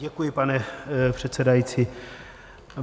Děkuji, pane předsedající.